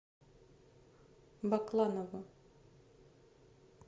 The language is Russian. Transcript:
бакланову